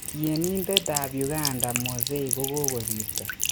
Tienitet ap uganda Mowzey kokosirto.